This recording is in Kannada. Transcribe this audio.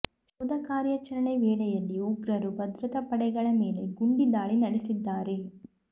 ಶೋಧ ಕಾರ್ಯಚರಣೆ ವೇಳೆಯಲ್ಲಿ ಉಗ್ರರು ಭದ್ರತಾ ಪಡೆಗಳ ಮೇಲೆ ಗುಂಡಿ ದಾಳಿ ನಡೆಸಿದ್ದಾರೆ